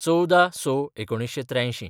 १४/०६/१९८३